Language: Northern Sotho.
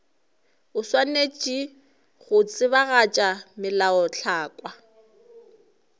o swanetše go tsebagatša melaotlhakwa